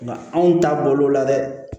Nka anw ta bolo la dɛ